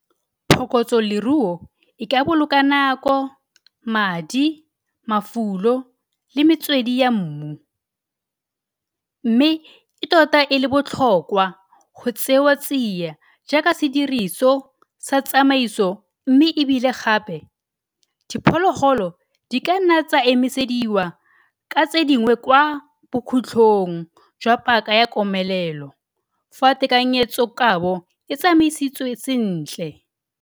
Phokotsoloruo e ka boloka nako, madi, mafulo le metswedi ya mmu, mme e tota e le botlhokwa go tsewa tsia jaaka sediriso sa tsamaiso mme e bile gape, diphologolo di ka nna tsa emisediwa ka tse dingwe kwa bokhutlong jwa paka ya komelelo fa tekanyetsokabo e tsamaisitswe sentle.